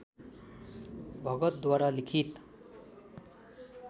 भगतद्वारा लिखित